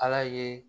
Ala ye